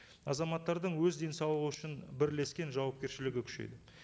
азаматтардың өз денсаулығы үшін бірлескен жауапкершілігі күшейеді